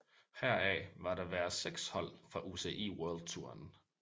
Heraf var der være seks hold fra UCI World Touren